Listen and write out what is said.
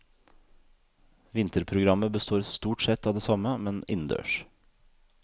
Vinterprogrammet består stort sett av det samme, men innendørs.